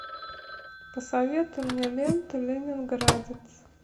посоветуй мне ленту ленинградец